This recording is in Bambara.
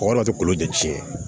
Mɔgɔ dɔ tɛ kolo de tiɲɛ